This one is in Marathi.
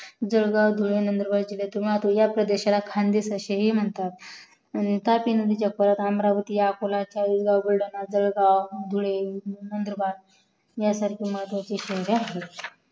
जळगाव धुळे नंदुरबार जिल्ह्यातून वाहतो ह्या देशाला खानदेश असे ही म्हणतात आणि तापी नदीच्या प्रवाह अमरावती अकोला बुलढाणा जळगाव धुळे नंदुरबार हयसारखी महत्वाची क्षेत्रे आहेत